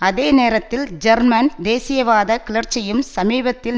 அதே நேரத்தில் ஜெர்மன் தேசியவாத கிளர்ச்சியும் சமீபத்தில்